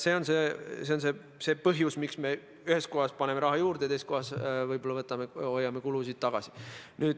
See on põhjus, miks me ühes kohas paneme raha juurde ja teises kohas võib-olla hoiame kulusid tagasi.